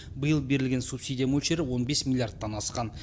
биыл берілген субсидия мөлшері он бес миллиардтан асқан